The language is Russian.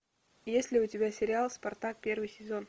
есть ли у тебя сериал спартак первый сезон